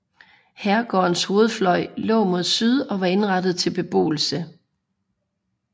Herregårdens hovedfløj lå mod syd og var indrettet til beboelse